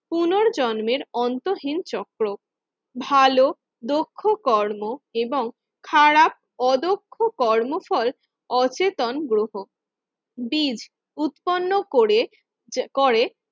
পুনর্জন্মের অন্তহীন চক্র ভালো দক্ষ কর্ম এবং খারাপ অদক্ষ কর্মফল অচেতন গ্রহ। বীজ উৎপন্ন করে করে